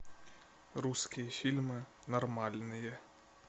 русские фильмы нормальные